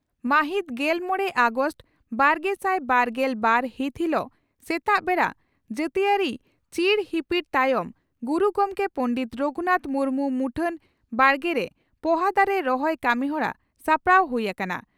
ᱢᱟᱹᱦᱤᱛ ᱜᱮᱞᱢᱚᱲᱮ ᱟᱜᱚᱥᱴ ᱵᱟᱨᱜᱮᱥᱟᱭ ᱵᱟᱨᱜᱮᱞ ᱵᱟᱨ ᱦᱤᱛ ᱦᱤᱞᱚᱜ ᱥᱮᱛᱟᱜ ᱵᱮᱲᱟ ᱡᱟᱹᱛᱤᱭᱟᱹᱨᱤ ᱪᱤᱨ ᱦᱤᱯᱤᱲ ᱛᱟᱭᱚᱢ ᱜᱩᱨᱩ ᱜᱚᱢᱠᱮ ᱯᱚᱸᱰᱮᱛ ᱨᱚᱜᱷᱩᱱᱟᱛᱷ ᱢᱩᱨᱢᱩ ᱢᱩᱴᱷᱟᱹᱱ ᱵᱟᱲᱜᱮᱨᱮ ᱯᱚᱦᱟ ᱫᱟᱨᱮ ᱨᱚᱦᱚᱭ ᱠᱟᱹᱢᱤᱦᱚᱨᱟ ᱥᱟᱯᱲᱟᱣ ᱦᱩᱭ ᱟᱠᱟᱱᱟ ᱾